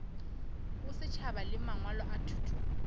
bosetšhaba le mangwalo a thuto